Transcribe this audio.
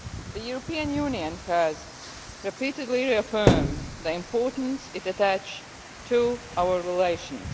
The European Union has repeatedly re affirmed the importance it attaches to our relations.